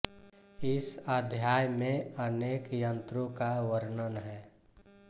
इस अध्याय में अनेक यंत्रों का वर्णन है